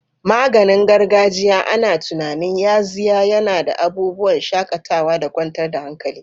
Maganin gargajiya ana tunanin yaxiya yana da abubuwan shakatawa da kwantar da hankali.